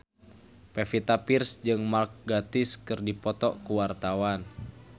Pevita Pearce jeung Mark Gatiss keur dipoto ku wartawan